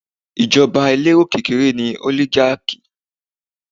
Ìjọba elérò kékeré ni Oligarchy